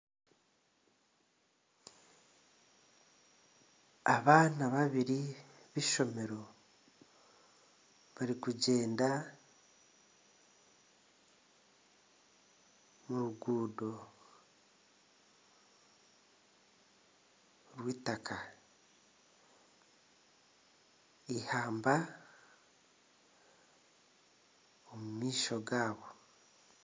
Abaana babiri beishomero barikugyenda omu ruguudo rw'eitaka. Eihamba riri omu maisho gaabo.